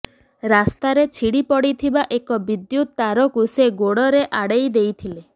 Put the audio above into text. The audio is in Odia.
ରାସ୍ତାରେ ଛିଡ଼ି ପଡ଼ିଥିବା ଏକ ବିଦ୍ୟୁତ ତାରକୁ ସେ ଗୋଡ଼ରେ ଆଡ଼େଇ ଦେଇଥିଲେ